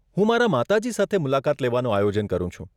હું મારા માતાજી સાથે મુલાકાત લેવાનું આયોજન કરું છું.